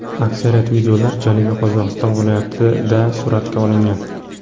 Aksariyat videolar Janubiy Qozog‘iston viloyatida suratga olingan.